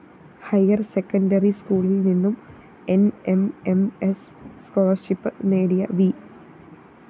higher secondary സ്‌കൂളില്‍ നിന്നും N M M S scholarship നേടിയ വി